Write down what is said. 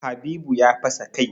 Habibu ya fasa kai.